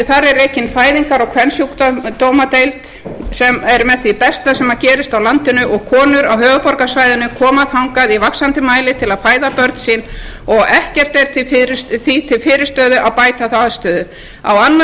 þar er rekin fæðingar og kvensjúkdómadeild sem er með því besta sem gerist á landinu og konur á höfuðborgarsvæðinu koma þangað í vaxandi mæli til að fæða börn sín og ekkert er því til fyrirstöðu að bæta þá aðstöðu á annað